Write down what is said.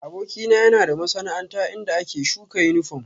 Abokina yana da masana'anta inda ake shuka yunifom